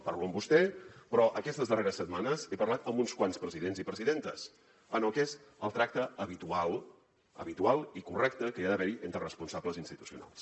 parlo amb vostè però aquestes darreres setmanes he parlat amb uns quants presidents i presidentes amb el que és el tracte habitual habitual i correcte que hi ha d’haver hi entre responsables institucionals